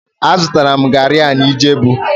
Azụtara m garri a na ijebu